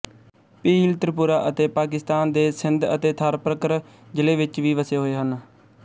ਭੀਲ ਤ੍ਰਿਪੁਰਾ ਅਤੇ ਪਾਕਿਸਤਾਨ ਦੇ ਸਿੰਧ ਅਤੇ ਥਾਰਪਰਕਰ ਜਿਲ੍ਹੇ ਵਿਚ ਵੀ ਵਸੇ ਹੋਏ ਹਨ